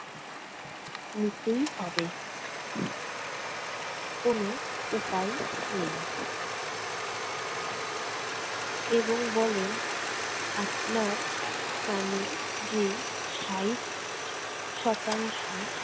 নিতেই হবে। কোন উপায় নেই এবং বলেন আপনার কানে যে ষাট শতাংশ